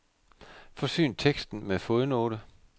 Forsyn teksten med fodnote.